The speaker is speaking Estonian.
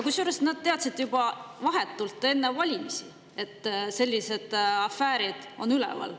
Kusjuures nad teadsid juba vahetult enne valimisi, et selline afäär on üleval.